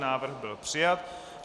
Návrh byl přijat.